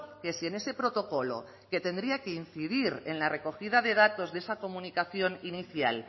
que si en ese protocolo que tendría que incidir en la recogida de datos de esa comunicación inicial